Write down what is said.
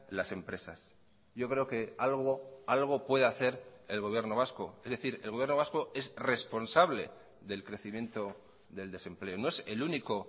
las empresas yo creo que algo algo puede hacer el gobierno vasco es decir el gobierno vasco es responsable del crecimiento del desempleo no es el único